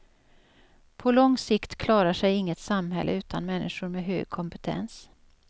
På lång sikt klarar sig inget samhälle utan människor med hög kompetens.